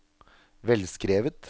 velskrevet